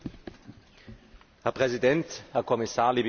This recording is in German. Herr Präsident, Herr Kommissar, liebe Kolleginnen und Kollegen!